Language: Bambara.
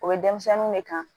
O bɛ denmisɛnninw de kan